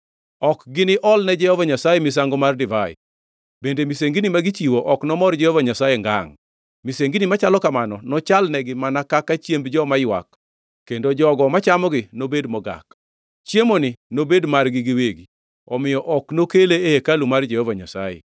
Ok gini olne Jehova Nyasaye misango mar divai, bende misengini ma gichiwo ok nomor Jehova Nyasaye ngangʼ. Misengini machalo kamano nochal negi mana kaka chiemb joma ywak; kendo jogo mochamogi nobed mogak. Chiemoni nobed margi giwegi; omiyo ok nokele e hekalu mar Jehova Nyasaye.